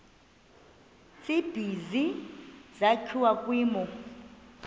tsibizi sakhiwa kwimo